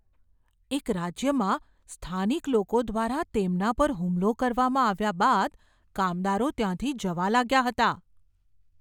એક રાજ્યમાં સ્થાનિક લોકો દ્વારા તેમના પર હુમલો કરવામાં આવ્યા બાદ કામદારો ત્યાંથી જવા લાગ્યા હતા.